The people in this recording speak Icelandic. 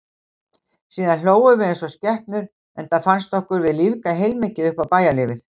Síðan hlógum við eins og skepnur, enda fannst okkur við lífga heilmikið upp á bæjarlífið.